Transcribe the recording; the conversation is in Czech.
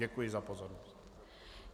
Děkuji za pozornost.